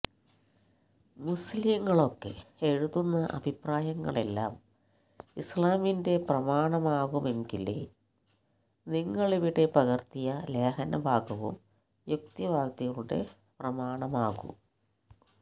മുസ്ലിങ്ങളൊക്കെ എഴുതുന്ന അഭിപ്രായങ്ങളെല്ലാം ഇസ്ലാമിന്റെ പ്രമാണമാകുമെങ്കിലേ നിങ്ങളിവിടെ പകര്ത്തിയ ലേഖനഭാഗവും യുക്തിവാദികളുടെ പ്രമാണമാകൂ